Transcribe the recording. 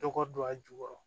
Dɔgɔ don a jukɔrɔ